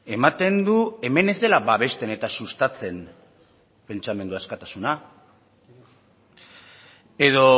ematen du hemen ez dela babesten eta sustatzen pentsamendu askatasuna edo